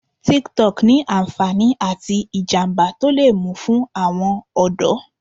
Tik-Tok ní ànfàní àti ìjàmbá tó le mú fún àwọn ọ̀dọ́.